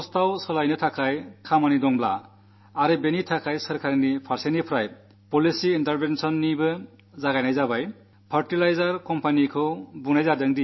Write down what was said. കമ്പോസ്റ്റായി മാറ്റാനുള്ള ജോലി നടക്കണം അതിനായി സർക്കാരിന്റെ പക്ഷത്തുനിന്ന് നയപരമായ ഇടപെടൽ കൂടി ആരംഭിച്ചിരിക്കുന്നു